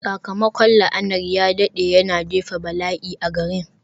Sakamakon la'anar ya daɗe, yana jefa bala'i a garin.